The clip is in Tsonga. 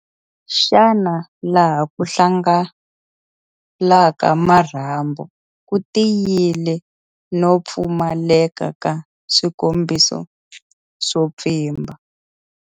Xana laha ku hlahgalaka marhambu ku tiyile no pfumaleka ka swikombiso swo pfimba?